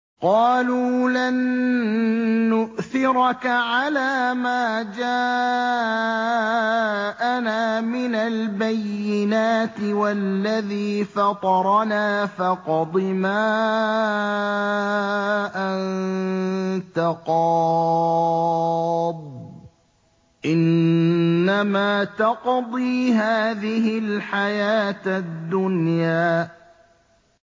قَالُوا لَن نُّؤْثِرَكَ عَلَىٰ مَا جَاءَنَا مِنَ الْبَيِّنَاتِ وَالَّذِي فَطَرَنَا ۖ فَاقْضِ مَا أَنتَ قَاضٍ ۖ إِنَّمَا تَقْضِي هَٰذِهِ الْحَيَاةَ الدُّنْيَا